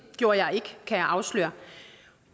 gjorde jeg ikke kan jeg afsløre